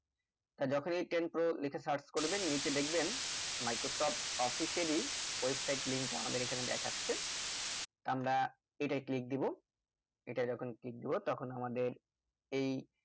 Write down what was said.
আর যখনি windows ten pro লিখে search করবেন নিচে দেখবেন microsoft office এরই website link টা আমাদের এখানে দেখাচ্ছে তা আমরা এটাই click দেব এটা যখন click দেব তখন আমাদের এই